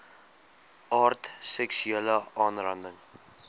aard seksuele aanranding